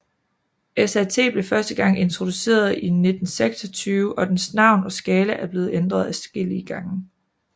SAT blev første gang introduceret i 1926 og dens navn og skala er blevet ændret adskillige gange